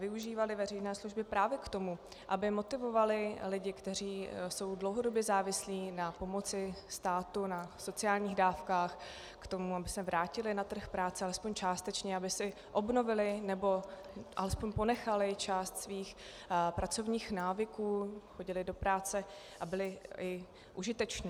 Využívaly veřejné služby právě k tomu, aby motivovaly lidi, kteří jsou dlouhodobě závislí na pomoci státu, na sociálních dávkách, k tomu, aby se vrátili na trh práce alespoň částečně, aby si obnovili nebo alespoň ponechali část svých pracovních návyků, chodili do práce a byli i užiteční.